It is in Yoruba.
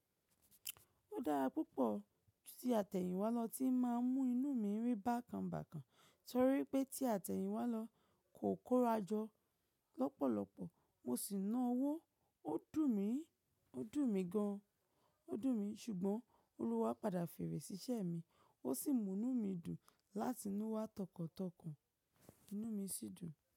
Ó dára púpọ̀ ju tí àtẹ̀yìnwálọ ti máa ń mú inú mi rí bákan bákan, torí pé tí àtẹ̀yìnwálọ kò kóra jọ lọ́pọ̀lọpọ̀ mo sì ná owó. Ó dùn mí, ó dùn mí gan, ó dùn mí ṣùgbọ́n Olúwa padà fèrè si iṣẹ́ mi, ó sì mú inú mi dùn láti inú wa tọkàn tọkàn. Inú mi sì dùn.